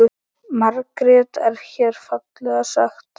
Margt er hér fallega sagt.